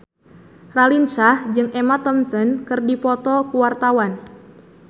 Raline Shah jeung Emma Thompson keur dipoto ku wartawan